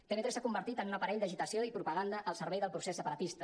tv3 s’ha convertit en un aparell d’agitació i propaganda al servei del procés separatista